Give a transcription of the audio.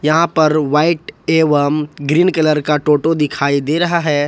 यहां पर व्हाइट एवं ग्रीन कलर का टोटो दिखाई दे रहा है।